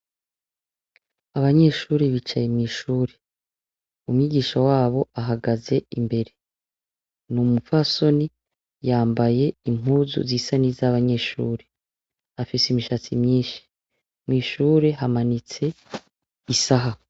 Abanyeshure bicaye mw'ishure. Umwigisha wabo ahagaze imbere. Ni umupfasoni, yambaye impuzu zisa n’iz’abanyeshure. Afise imishatsi myinshi. Mw’ishure hamanitse isaha.